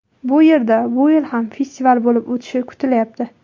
Bu yerda bu yil ham festival bo‘lib o‘tishi kutilyapti.